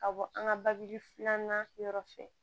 Ka bɔ an ka babu filanan yɔrɔ fɛ